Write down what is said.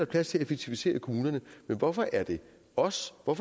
plads til at effektivisere i kommunerne men hvorfor er det os og